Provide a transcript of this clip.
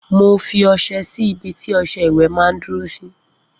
Mo fi ọsẹ sí orí ibití ọsẹ ìwè mà n dúró sí